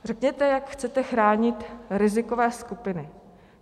Řekněte, jak chcete chránit rizikové skupiny.